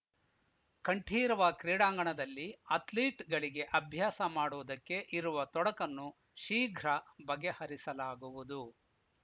ಕಂಠೀರವ ಕ್ರೀಡಾಂಗಣದಲ್ಲಿ ಅಥ್ಲೀಟ್‌ಗಳಿಗೆ ಅಭ್ಯಾಸ ಮಾಡುವುದಕ್ಕೆ ಇರುವ ತೊಡಕನ್ನು ಶೀಘ್ರ ಬಗೆಹರಿಸಲಾಗುವುದು